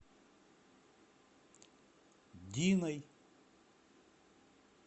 диной